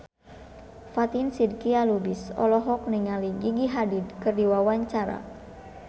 Fatin Shidqia Lubis olohok ningali Gigi Hadid keur diwawancara